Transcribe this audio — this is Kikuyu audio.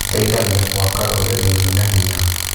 Gĩteithagia gwaka rũrĩrĩ rwĩna hinya.